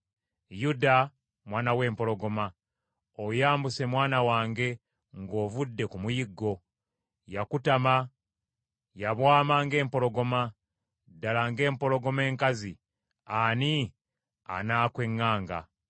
Yuda, mwana w’empologoma. Oyambuse mwana wange, ng’ovudde ku muyiggo. Yakutama, yabwama ng’empologoma. Ddala ng’empologoma enkazi, ani anaakweŋŋanga?